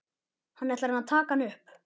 Hann ætlar að taka hana upp.